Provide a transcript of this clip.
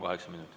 Kaheksa minutit.